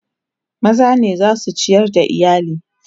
maza ne zasu ciyar da iyali